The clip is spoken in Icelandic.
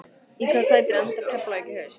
Í hvaða sæti endar Keflavík í haust?